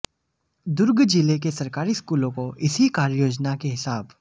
दुर्ग जिले के सरकारी स्कूलों को इसी कार्ययोजना के हिसाब